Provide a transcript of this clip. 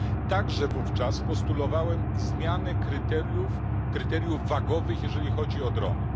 Także wówczas postulowałem zmianę kryteriów wagowych, jeżeli chodzi o drony.